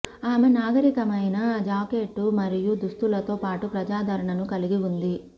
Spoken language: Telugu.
ఆమె నాగరీకమైన జాకెట్లు మరియు దుస్తులతో పాటు ప్రజాదరణను కలిగి ఉంది